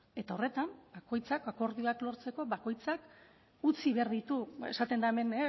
eta horretan bakoitzak akordioak lortzeko bakoitzak utzi behar ditu esaten da hemen